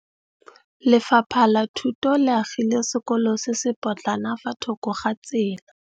Lefapha la Thuto le agile sekôlô se se pôtlana fa thoko ga tsela.